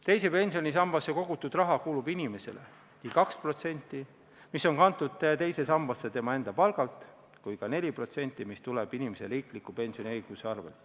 Teise pensionisambasse kogutud raha kuulub inimesele – nii 2%, mis on kantud teise sambasse tema enda palga arvel, kui ka 4%, mis tuleneb inimese õigusest riiklikule pensionile.